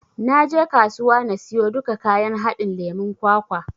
Na je kasuwa na siyo duka kayan haɗin lemon kwakwa.